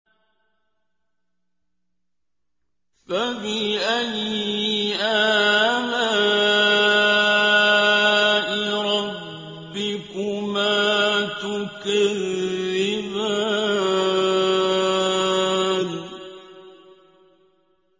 فَبِأَيِّ آلَاءِ رَبِّكُمَا تُكَذِّبَانِ